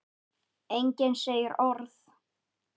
Enginn segir orð.